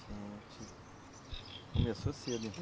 Gente... Começou cedo então.